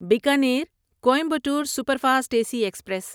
Bikaner Coimbatore superfast A C express